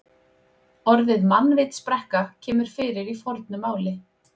Orðið mannvitsbrekka kemur fyrir í fornu máli.